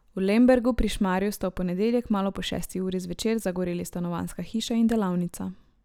V Lembergu pri Šmarju sta v ponedeljek malo po šesti uri zvečer zagoreli stanovanjska hiša in delavnica.